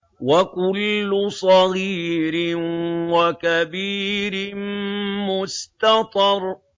وَكُلُّ صَغِيرٍ وَكَبِيرٍ مُّسْتَطَرٌ